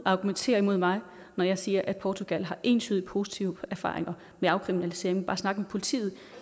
argumentere imod mig når jeg siger at portugal har entydigt positive erfaringer med afkriminalisering bare snak med politiet